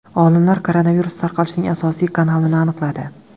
Olimlar koronavirus tarqalishining asosiy kanalini aniqladi.